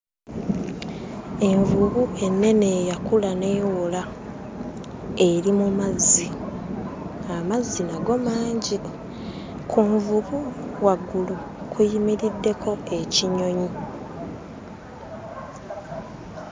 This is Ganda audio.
Envubu ennene eyakula n'ewola eri mu mazzi, amazzi nago mangi. Ku nvubu waggulu kuyimiriddeko ekinyonyi.